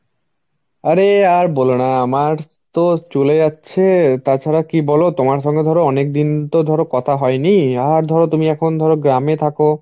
আরে আর বোলো না আমার তো চলে যাচ্ছে. তাছাড়া কি বলো তোমার সঙ্গে ধরো অনেকদিন তো ধরো কথা হয়নি. আর ধরো তুমি এখন ধরো গ্রামে থাকো.